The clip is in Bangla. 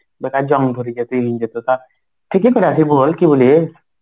বেকার জং ধরে যাবে ঠিকই করে আছে বল কি বলিস?